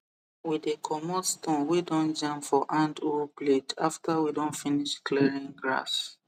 we dey comot stone wey don jam for hand hoe blade after we don finish clearing grass